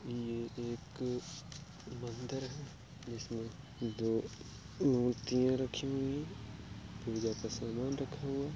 ये एक मंदिर है जिसमें दो मूर्तियां रखी हुई हैं। पूजा का सामान रखा हुआ है।